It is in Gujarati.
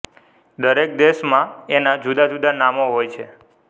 દરેક દેશમાં એનાં જુદાં જુદાં નામો હોય છે